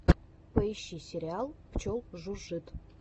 поищи сериал пчел жужжит